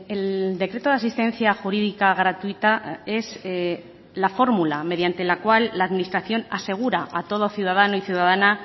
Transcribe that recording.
el decreto de asistencia jurídica gratuita es la fórmula mediante la cual la administración asegura a todo ciudadano y ciudadana